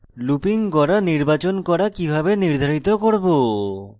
looping গড়া নির্বাচন করা কিভাবে নির্ধারিত করব